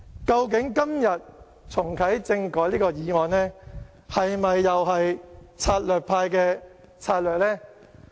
究竟今天提出這項重啟政改的議案，是否又是策略派的策略呢？